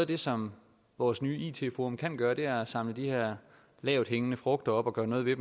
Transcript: det som vores nye it forum kan gøre er at samle de her lavthængende frugter op og gøre noget ved